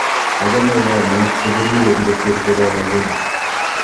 achame komek chebiriren kosir chelelechen